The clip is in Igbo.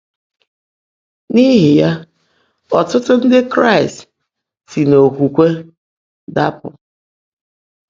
N’íhí yá, ọ́tụ́tụ́ Ndị́ Kráịst ‘sí n’ókwúkwé dàpụ́.’